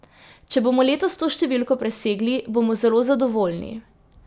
Če bomo letos to številko presegli, bomo zelo zadovoljni.